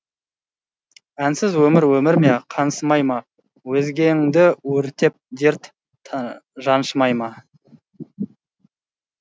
әнсіз өмір өмір ме қаңсымай ма өзегіңді өртеп дерт жаншымай ма